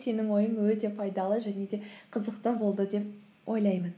сенің ойын өте пайдалы және де қызықты болды деп ойлаймын